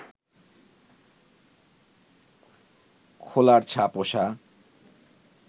খোলার ছা-পোষা